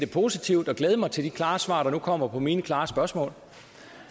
positivt og glæde mig til de klare svar der nu kommer på mine klare spørgsmål